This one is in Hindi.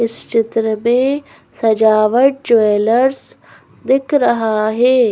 इस चित्र में सजावट ज्वैलर्स दिख रहा है।